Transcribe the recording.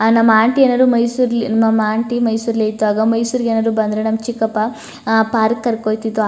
ನಮ್ಮ ಆಂಟಿ ಯರು ಮೈಸೂರಲ್ಲಿ ನಮ್ಮ ಆಂಟಿ ಮೈಸೂರಲ್ಲಿ ಇದ್ದಾಗ ಮೈಸೂರಿಗೆ ಏನಾದ್ರು ಬಂದ್ರೆ ನಮ್ಮ ಚಿಕ್ಕಪ್ಪ ಆ ಪಾರ್ಕ್ ಗೆ ಕರ್ಕೊ ಹೋಯ್ತಿದ್ರು.